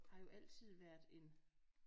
Har jo altid været en